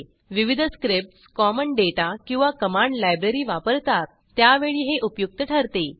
विविध scripts common data किंवा command library वापरतात त्यावेळी हे उपयुक्त ठरते